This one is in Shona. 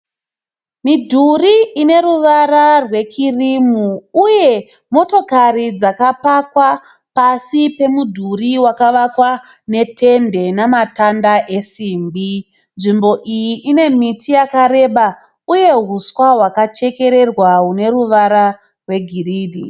Midhuri ine ruvara rwe kirimu, uye motokari dzakapakwa pasi pemudhuri wakavakwa netende namatanda esimbi. Nzvimbo iyi ine miti yakareba uye huswa hwakachekererwa hune ruvara rwe girini.